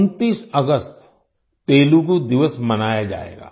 29 अगस्त तेलुगू दिवस मनाया जायेगा